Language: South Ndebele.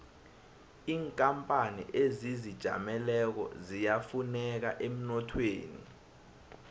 inkapani ezizijameleko ziyafuneka emnothweni